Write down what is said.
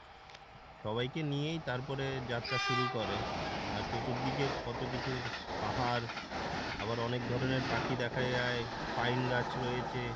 সবাইকে নিয়েই তারপরে যাত্রা শুরু করে আর চতুর্দিকে কত কিছু পাহাড় আবার অনেক ধরনের পাখি দেখা যায় পাইন গাছ রয়েছে।